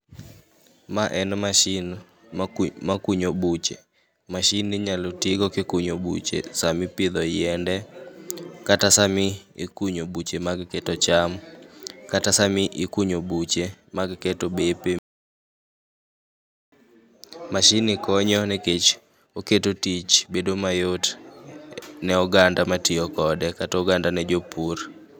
Ma en mashin maku makunyo buche. Mashinni inyalo tigo kikunyo buche sama ipidho yiende kata sama ikunyo buche mag keto cham kata sami ikunyo buche mag keto bepe. Mashinni konyo nikech oketo tich bedo mayot ne oganda matiyo kode kata oganda ne jopur.